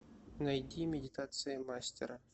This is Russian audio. найди медитации мастера